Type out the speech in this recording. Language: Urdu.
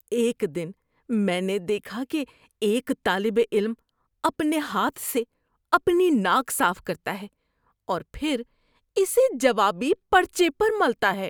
ایک دن میں نے دیکھا کہ ایک طالب علم اپنے ہاتھ سے اپنی ناک صاف کرتا ہے اور پھر اسے جوابی پرچے پر ملتا ہے۔